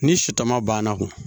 Ni sutara banna ku